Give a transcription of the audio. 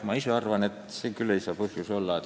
Ma ise arvan, et see ei saa küll põhjus olla.